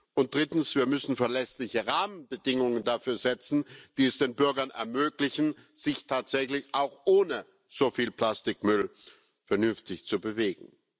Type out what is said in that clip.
Und drittens Wir müssen verlässliche Rahmenbedingungen dafür setzen, die es den Bürgern ermöglichen, sich tatsächlich auch ohne so viel Plastikmüll vernünftig zu bewegen.